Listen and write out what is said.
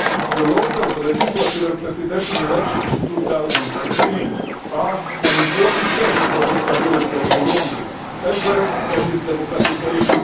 The local, legislative and presidential elections in 2015 are an important test for the stability of Burundi as well as its democratisation.